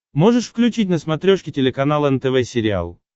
можешь включить на смотрешке телеканал нтв сериал